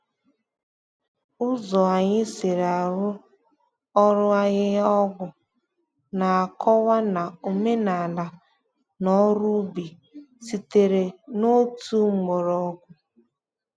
Ụzọ anyị si arụ ọrụ ahihia-ọgwụ na-akọwa na omenala na ọrụ ubi sitere n’otu mgbọrọgwụ.